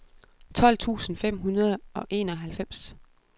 tolv tusind fem hundrede og enoghalvfems